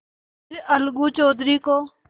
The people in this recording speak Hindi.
फिर अलगू चौधरी को